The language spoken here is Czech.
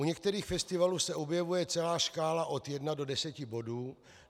U některých festivalů se objevuje celá škála od jednoho do deseti bodů.